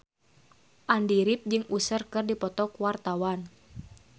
Andy rif jeung Usher keur dipoto ku wartawan